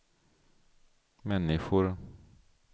människor